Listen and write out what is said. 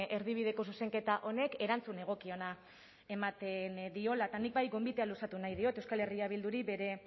erdibideko zuzenketa honek erantzun egokiena ematen diola eta nik bai gonbitea luzatu nahi diot euskal herria bilduri